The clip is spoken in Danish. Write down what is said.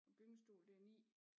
Og gyngestol det er 9